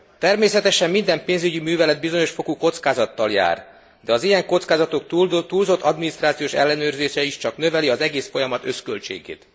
Természetesen minden pénzügyi művelet bizonyos fokú kockázattal jár, de az ilyen kockázatok túlzott adminisztrációs ellenőrzése is csak növeli az egész folyamat összköltségét.